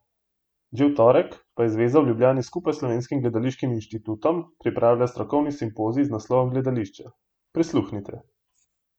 Že v torek pa je zveza v Ljubljani skupaj z Slovenskim gledališkim inštitutom pripravila strokovni simpozij z naslovom Gledališča, prisluhnite!